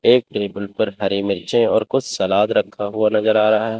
एक टेबल पर हरे मिर्चे और कुछ सलाद रखा हुआ नजर आ रहा है।